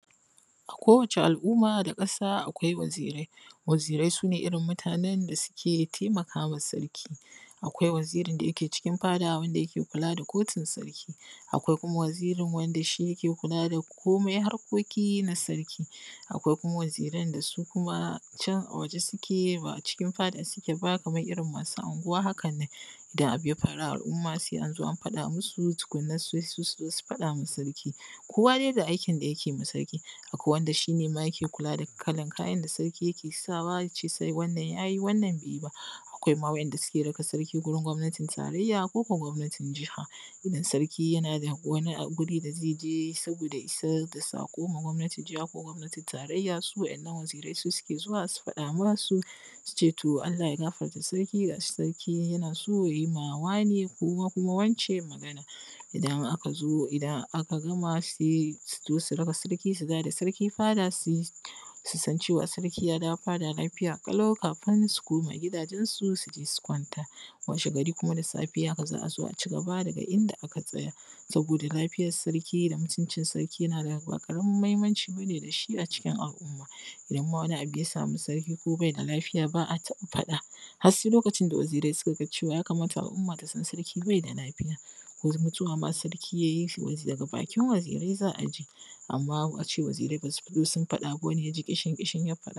A kowace al'umma da ƙasa akwai wazirai. Wazirai su nee irin mutaanen da suke taimaka wa sarki. Akwai wazirin da yake cikin fadaa wanda yake kula da kotun sarki. Akwai kuuma wazirin da yake kula da komai harkoki na sarki. Akwai kuumaa waziran da su kumaa can waje suke ba cikin fadaa suke baa kamar irin masu anguwa hakan nan. Da abu ya faaruu a alˀumma sai an zo an faɗa masu tukunna sai su su zo su faɗa ma sarki. Kowa dai da aikin da yake ma sarki. Akwai wanda shi nee ma yake kulaa da kalan kayan da sarki yake sa wa ya ce wannan ya yi wannan bai yi ba. Akwai waɗanda suke raka sarki wurin gwamnatin tarayya koo ko gwamnatin jiha. Idan sarki yana da wani wuri da zai je saboodaa ya isar da saƙon gwamnatin jiha ko gwamnatin tarayya, su waɗannan wazirai su suke zuwa su faɗa masu, su ce to, Allah ya gafarta sarki ga shi sarki yana so ya yi ma wane ko kumaa wance Magana. Idan aka zo, idan aka gama sai su zo su raka sarki fadaa, su san cewa sarki ya dawoo fadaa lafiya lau kafin su komaa gidajensu su kwanta. washegari kumaa da safe haka za a zo a cigaba daga inda aka tsaya. Saboodaa lafiyar sarki da mutuncin sarki yana da, ba ƙaramin muhimmanci bane da shi acikin al’umma, idan wani abu ya faaru da sarki, ko bai da lafiya ba a taɓa faɗaa, har sai lokacin da wazirai suka ga cewa ya kamata al’umma ta san sarki bai da lafiya. Ko mutuwa idan sarki yayi daga bakin wazirai za a ji. Amma a ce wazirai basu fitoo sun faɗaa ba, wani ya ji ƙishin-ƙishin ya.